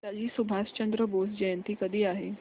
नेताजी सुभाषचंद्र बोस जयंती कधी आहे